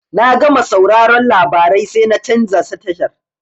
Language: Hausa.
Na gama sauraron labarai sai na canza tashar.